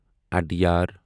ادیار